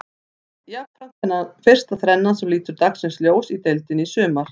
Jafnframt fyrsta þrennan sem lítur dagsins ljós í deildinni í sumar.